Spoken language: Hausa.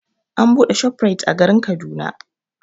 An buɗe ShopRite a garin Kaduna.